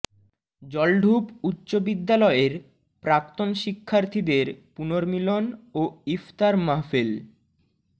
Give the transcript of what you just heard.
জলঢুপ উচ্চ বিদ্যালয়ের প্রাক্তন শিক্ষার্থীদের পুর্নমিলন ও ইফতার মাহফিল